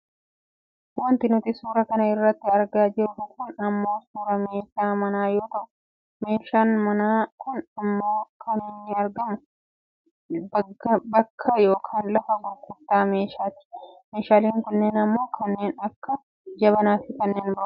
wanti nuti suuraa kana irratti argaa jirru kun ammoo suuraa meeshaa manaa yoo ta'u meeshaan manaa kun ammoo kan inni argamu bagga yookaan lafa gurgurtaa meeshaatti. meeshaaleen kunneen ammoo kanneen akka jabaanaafi kanneen birooti.